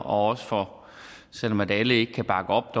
også for selv om alle ikke kan bakke op